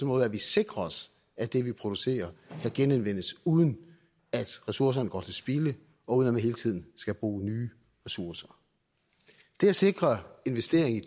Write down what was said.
måde at vi sikrer os at det vi producerer kan genanvendes uden at ressourcerne går til spilde og uden at man hele tiden skal bruge nye ressourcer det at sikre investering i